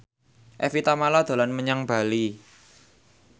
Evie Tamala dolan menyang Bali